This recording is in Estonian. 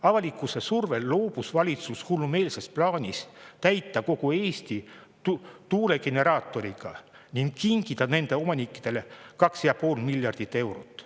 Avalikkuse survel loobus valitsus hullumeelsest plaanist täita kogu Eesti tuulegeneraatoritega ning kinkida nende omanikele 2,5 miljardit eurot.